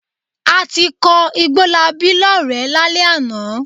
A ti kọ Igbólabí lọ́rẹ̀ẹ́ lálẹ́ àná.